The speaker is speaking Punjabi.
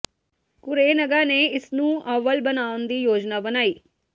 ਕੁਰੇਨਗਾ ਨੇ ਇਸ ਨੂੰ ਓਵਲ ਬਣਾਉਣ ਦੀ ਯੋਜਨਾ ਬਣਾਈ